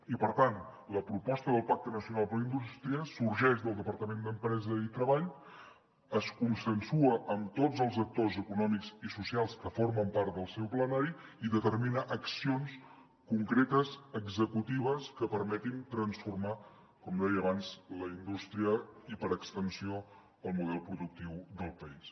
i per tant la proposta del pacte nacional per la indústria sorgeix del departament d’empresa i treball es consensua amb tots els actors econòmics i socials que formen part del seu plenari i determina accions concretes executives que permetin transformar com deia abans la indústria i per extensió el model productiu del país